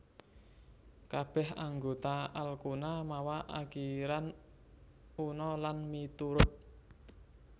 Kabèh anggota alkuna mawa akiran una lan miturut